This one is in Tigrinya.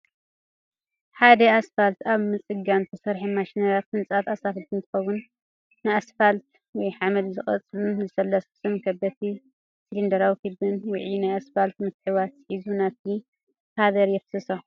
ሓደ ኣስፋልት ኣብ ምፅጋን ዝሰርሓ ማሽነሪታት ህንፀት ኣስፋልት እንትከውን፣ ንኣስፋልት ወይ ሓመድ ዝጸቕጡን ዘለስልስን ከበድቲ ሲሊንደራዊ ክቢን ውዑይ ናይ ኣስፋልት ምትሕውዋስ ሒዙ ናብቲ ፓቨር የፍስሶ።